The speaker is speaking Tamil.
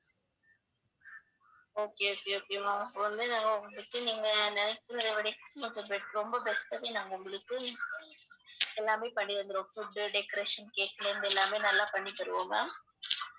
okay okay okay ma'am இப்ப வந்து நாங்க உங்களுக்கு நீங்க நினைச்சதை விடைக்கும் best ரொம்ப best ஆவே நாங்க உங்களுக்கு எல்லாமே பண்ணி தந்திடுவோம் food decoration cake ல இருந்து எல்லாமே நல்லா பண்ணி தருவோம் ma'am